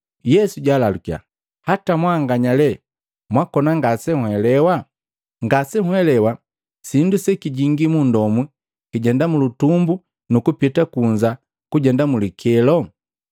Yesu jalalukiya, “Hata mwanganya lee mwakona ngasenhelewa? Ngasenhelewa sindu sekijingi munndomu kijenda mulutumbu nukupita kunza kujenda mu likelo?